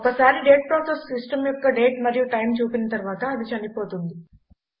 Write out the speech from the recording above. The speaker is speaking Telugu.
ఒకసారి డేట్ ప్రాసెస్ సిస్టమ్ యొక్క డేట్ మరియు టైమ్ చూపిన తరువాత అది చనిపోతుంది